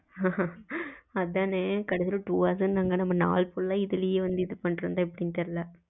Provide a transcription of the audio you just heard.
அதானே கடைசியில two hours னு அப்டினங்க நம்ம நாள் புற இதுலையே வந்து இது பண்ணிக்கிட்டு இருந்தா எப்டின்னு தெரியலையே